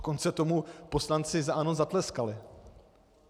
Dokonce tomu poslanci za ANO zatleskali.